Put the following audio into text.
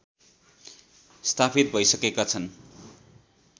स्थापित भइसकेका छन्